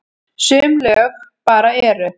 Sum lög bara eru.